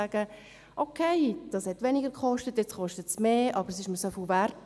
«Es hat zwar weniger gekostet, jetzt kostet es mehr, aber das ist es mir Wert».